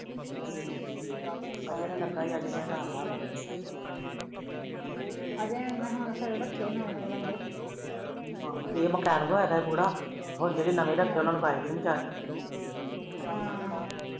ਆ ਜਿਹੜਾ ਲੱਗਾ ਅਜੇ ਹੁਨਾ ਨੇ ਰੱਖੇ ਨਵੇ ਨਵੇ ਬੰਦੇ ਇਹ ਆ ਇਹਦਾ ਬੁੜਾ ਹੁਣ ਜਿਹੜੇ ਨਵੇ ਰੱਖੇ ਹਮ